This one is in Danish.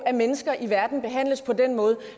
at mennesker i verden behandles på den måde